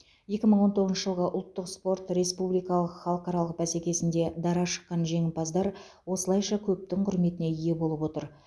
екі мың он тоғызыншы жылғы ұлттық спорт республикалық халықаралық бәсекесінде дара шыққан жеңімпаздар осылайша көптің құрметіне ие болып отыр